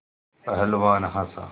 पहलवान हँसा